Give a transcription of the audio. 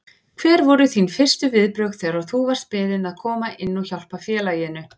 Hver voru þín fyrstu viðbrögð þegar þú varst beðinn að koma inn og hjálpa félaginu?